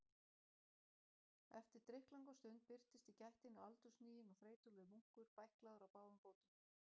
Eftir drykklanga stund birtist í gættinni aldurhniginn og þreytulegur munkur, bæklaður á báðum fótum.